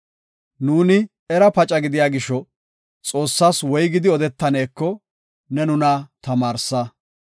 Nuuni era paca gidiya gisho, Xoossas woygidi odetaneko ne nuna tamaarsa.